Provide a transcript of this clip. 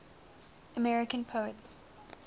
american poets